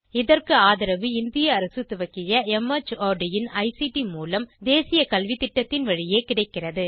இதற்கு ஆதரவு இந்திய அரசு துவக்கிய மார்ட் இன் ஐசிடி மூலம் தேசிய கல்வித்திட்டத்தின் வழியே கிடைக்கிறது